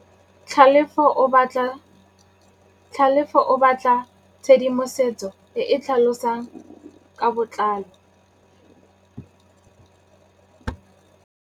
Tlhalefô o batla tshedimosetsô e e tlhalosang ka botlalô.